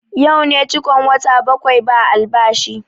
Yau ne cikon wata bakwai ba albashi